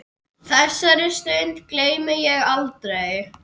Þessari stund gleymi ég aldrei.